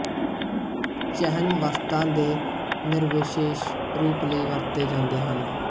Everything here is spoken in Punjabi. ਚਿਹਨ ਵਸਤਾਂ ਦੇ ਨਿਰਵਿਸ਼ੇਸ਼ ਰੂਪ ਲਈ ਵਰਤੇ ਜਾਂਦੇ ਹਨ